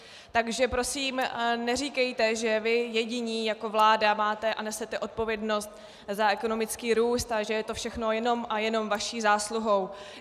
Takže prosím neříkejte, že vy jediní jako vláda máte a nesete odpovědnost za ekonomický růst a že je to všechno jenom a jenom vaší zásluhou.